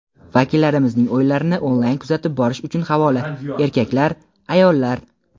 Vakillarimizning o‘yinlarini onlayn kuzatib borish uchun havola: erkaklar / ayollar.